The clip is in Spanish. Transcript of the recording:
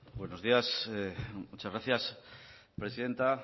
buenos días muchas gracias presidenta